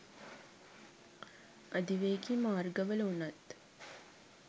අධිවේගී මාර්ගවල වුණත්